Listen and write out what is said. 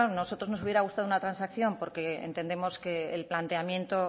nosotros nos hubiera gustado una transacción porque entendemos que el planteamiento